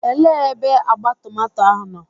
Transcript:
Elee ebe agba tomato ahụ nọ?